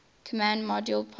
command module pilot